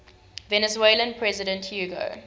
venezuelan president hugo